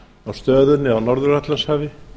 á stöðunni á norður atlantshafi